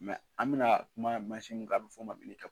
Mɛ an bɛna kuma masin kan a bɛ fɔo mabili